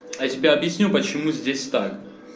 а я тебе объясню почему здесь так